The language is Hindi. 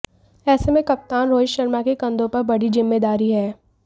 ऐसे में कप्तान रोहित शर्मा के कंधों पर बड़ी जिम्मेदारी है